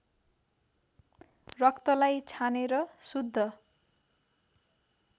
रक्तलाई छानेर शुद्ध